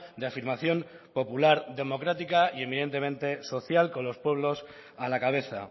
de afirmación popular democrática y evidentemente social con los pueblos a la cabeza